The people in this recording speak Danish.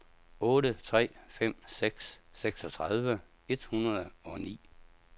otte tre fem seks seksogtredive et hundrede og ni